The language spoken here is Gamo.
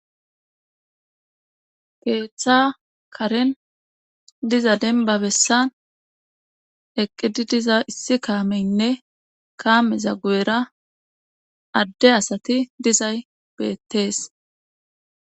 Keeththa karen diza denba bessan eqqidi diza issi kaameynne kaameza gu'era adde asati dizay beettees.